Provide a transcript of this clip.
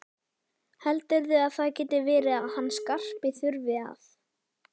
Heldurðu að það geti verið að hann Skarpi þurfi að.